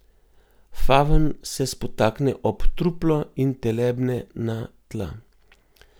Favn se spotakne ob truplo in telebne na tla.